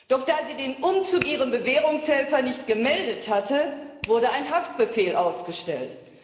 Doch da sie den Umzug ihrem Bewährungshelfer nicht gemeldet hatte, wurde ein Haftbefehl ausgestellt.